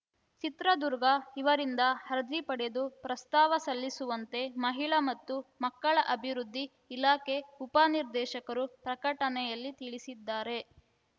ಚಿತ್ರದುರ್ಗ ಇವರಿಂದ ಅರ್ಜಿ ಪಡೆದು ಪ್ರಸ್ತಾವ ಸಲ್ಲಿಸುವಂತೆ ಮಹಿಳಾ ಮತ್ತು ಮಕ್ಕಳ ಅಭಿವ್ವದ್ಧಿ ಇಲಾಖೆ ಉಪನಿರ್ದೇಶಕರು ಪ್ರಕಟಣೆಯಲ್ಲಿ ತಿಳಿಸಿದ್ದಾರೆ